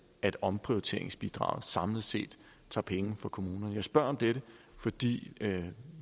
at omprioriteringsbidraget samlet set tager penge fra kommunerne jeg spørger om dette fordi